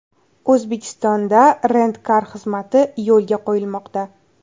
O‘zbekistonda Rent-car xizmati yo‘lga qo‘yilmoqda.